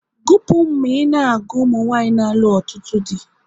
Gupu m na ị na-agụ ụmụnwanyị n'alụ ọtụtụ dị!